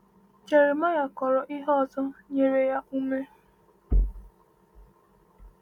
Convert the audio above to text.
Jeremaịa kọrọ ihe ọzọ nyere ya ume.